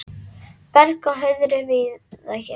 Berg á hauðri víða sérð.